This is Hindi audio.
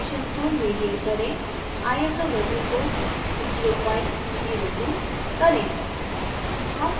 resolution को medium करें iso value को 002 करें